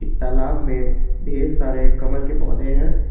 तालाब में ढेर सारे कमल के पौधे हैं।